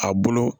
A bolo